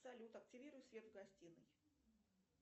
салют активируй свет в гостинной